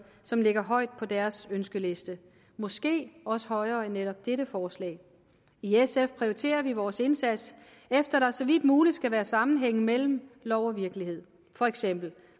som ligger højt på deres ønskeliste måske også højere end netop dette forslag i sf prioriterer vi vores indsats efter at der så vidt muligt skal være sammenhæng mellem lov og virkelighed for eksempel